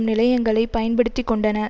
நிலையங்களை பயன்படுத்தி கொண்டன